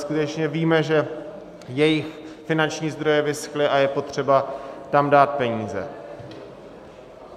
Skutečně víme, že jejich finanční zdroje vyschly, a je potřeba tam dát peníze.